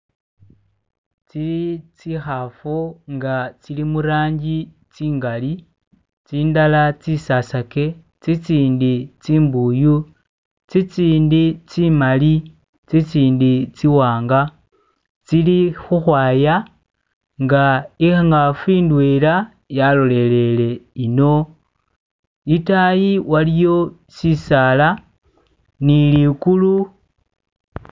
Ezi zinkafu nga ziri mu langi zingari, zindala zisasage zizindi zimbuyu zizindi zimali zinzindi zimwanga ziri ukwaya nga inkafu indwena yasililire eno idayi iliyo shisala ni ligulu.